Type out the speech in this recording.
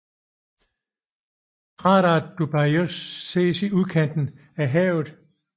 Krateret Dubyago ses i sydkanten af havet